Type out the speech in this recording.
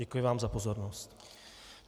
Děkuji vám za pozornost.